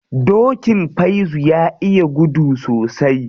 Dokin Faizu ya iya gudu sosai.